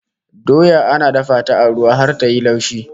Doya ana dafa ta a ruwa har ta yi laushi